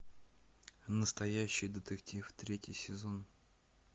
настоящий детектив третий сезон